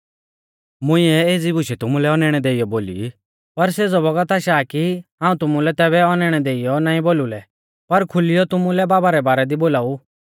मुंइऐ एज़ी बुशै तुमुलै औनैणै देइयौ बोली ई पर सेज़ौ बौगत आशा आ कि हाऊं तुमुलै तैबै औनैणै देइऔ नाईं बोलु लै पर खुलीयौ तुमुलै बाबा रै बारै दी बोलाऊ